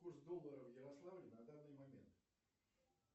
курс доллара в ярославле на данный момент